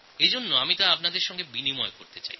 যেটা আমি আপনাদের সঙ্গে ভাগ করে নিতে চাই